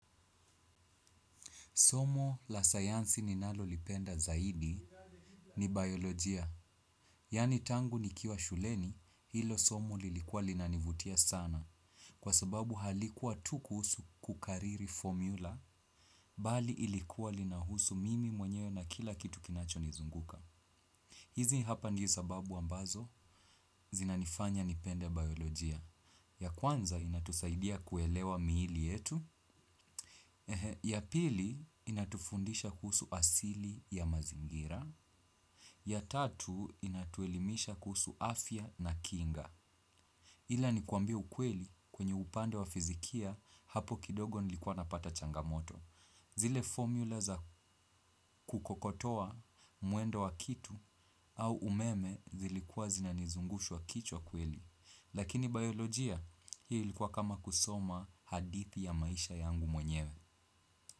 Somo la sayansi ninalo lipenda zaidi ni biolojia. Yani tangu nikiwa shuleni, hilo somo lilikuwa linanivutia sana. Kwa sababu halikuwa tu kuhusu kukariri formula, bali ilikuwa linahusu mimi mwenyewe na kila kitu kinacho nizunguka. Hizi hapa ndiyo sababu ambazo, zinanifanya nipende biolojia. Ya kwanza inatusaidia kuelewa miili yetu. Ya pili inatufundisha kuhusu asili ya mazingira. Ya tatu inatuelimisha kuhusu afya na kinga. Ila nikwambie ukweli kwenye upande wa fizikia hapo kidogo nilikuwa napata changamoto. Zile formula za kukokotoa muendo wa kitu au umeme zilikuwa zinanizungusha kichwa kweli. Lakini biolojia ilikua kama kusoma hadithi ya maisha yangu mwenyewe.